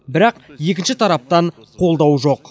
бірақ екінші тараптан қолдау жоқ